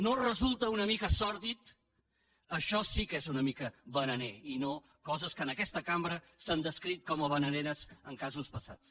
no resulta una mica sòrdid això sí que és una mica bananer i no coses que en aquesta cambra s’han descrit com a bananeres en casos passats